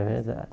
É verdade.